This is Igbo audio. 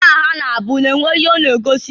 Aha ha na-abụ na-enwe ihe ọ na-egosi.